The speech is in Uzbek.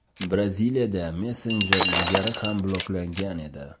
Braziliyada messenjer ilgari ham bloklangan edi .